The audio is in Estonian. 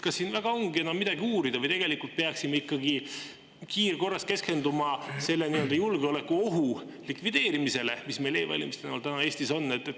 Kas siin väga ongi enam midagi uurida või peaksime ikkagi kiirkorras keskenduma selle julgeolekuohu likvideerimisele, mis meil e-valimiste näol Eestis on?